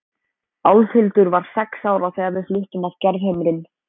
Álfhildur var sex ára þegar við fluttum að Gerðhömrum.